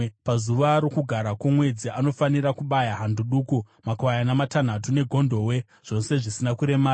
Pazuva roKugara kwoMwedzi anofanira kupa hando duku, makwayana matanhatu negondobwe, zvose zvisina kuremara.